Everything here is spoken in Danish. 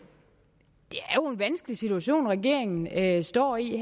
vanskelig situation som regeringen her står i